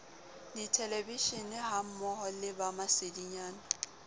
dithelevishenehammoho le ba masedinyana ba